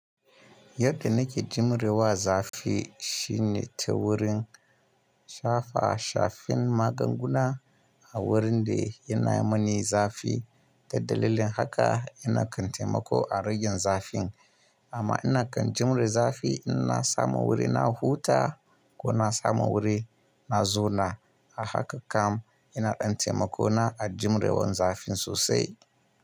Yadda nake jimre wa zafi shine ta wurin shafa shafin maganguna a wurin da yana mani zafi. Da dalilin haka ina kan taimako a ragin zafin, amma ina kan jimre zafi ina samo wuri na huta ko na samu wuri na zauna. A haka kam ina ɗan taimako na a jimrewan zafin sosai.